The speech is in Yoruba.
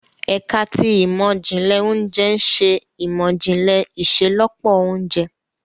Ẹka ti Imọ-jinlẹ Ounjẹ ǹ ṣe imọ-jinlẹ iṣelọpọ ounjẹ